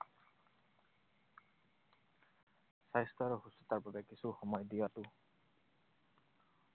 স্বাস্থ্য আৰু সুস্থতাৰ বাবে কিছু সময় দিয়াটো